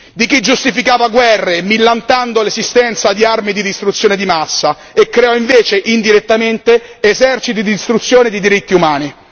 Di chi giustificava guerre millantando l'esistenza di armi di distruzione di massa e creò invece indirettamente eserciti di distruzione di diritti umani.